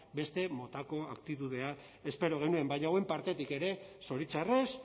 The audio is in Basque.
beste motako aktitudea espero genuen baina hauen partetik ere zoritxarrez